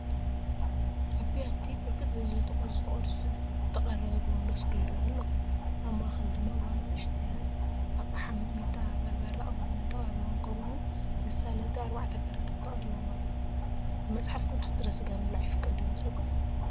ኣብ ብያቲ ብርክት ዝበለ ተቖሪፁ ተቖሪፁ ዝተቐረበ ብርንዶ ስጋ ይረአ ኣሎ፡፡ ኣብ ማእኸል ድማ ብንእሽተያት ኣቕሓ ሚጥሚጣ፣ በርበረን ቀመምን ተቐሪቦም ከምኡ ውን መሳለጢ 4 ካራታት ተቐሪቦም ኣለው፡፡ ብመፅሓፍ ቅዱስ ጥረ ስጋ ምብላዕ ይፈቀድ ዶ ይመስለኩም?